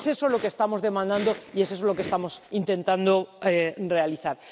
Es eso lo que estamos demandando y es eso lo que estamos intentando realizar.